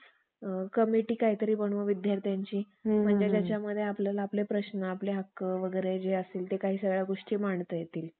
सोहळे चाव करून नाचत फिरू लागले. तेव्हा मुकुंदराज, ज्ञानेश्वर वैगरे रामदासंसारखे अनेक पाय